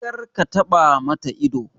Kar ka taɓa ma ta ido!